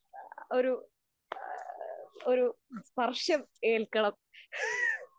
ഒരു ഒരു സ്പർശം ഏൽക്കണം